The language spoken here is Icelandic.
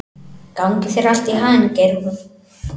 Gangi þér allt í haginn, Geirrún.